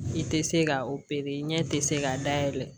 I tɛ se ka opere ɲɛ tɛ se k'a dayɛlɛ